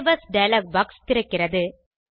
save as dialog box திறக்கிறது